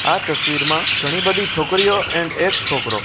આ તસવીરમાં ઘણી બધી છોકરીઓ એન્ડ એક છોકરો--